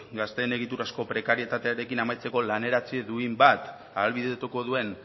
gazteen egiturazko prekarietatearekin amaitzeko laneratze duin bat ahalbidetuko duen